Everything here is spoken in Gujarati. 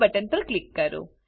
બટન પર ક્લિક કરો